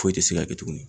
Foyi tɛ se ka kɛ tuguni